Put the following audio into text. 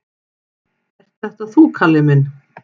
"""Ert þetta þú, Kalli minn?"""